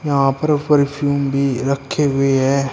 यहां पर परफ्यूम भी रखे हुए हैं।